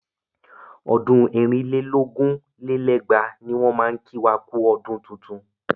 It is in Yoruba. Ọdún ẹ̀rin lé lógún lé lẹ́gbàá ní wọ́n máa kí wa kú ọdún tuntun.